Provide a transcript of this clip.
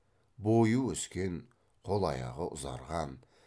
бойы өскен қол аяғы ұзарған